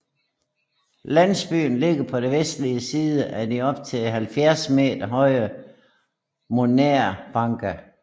Landsbyen ligger på den vestlige side af de op til 70 meter høje morænebakker